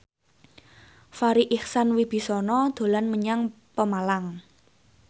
Farri Icksan Wibisana dolan menyang Pemalang